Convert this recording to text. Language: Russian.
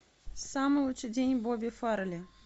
самый лучший день бобби фаррелли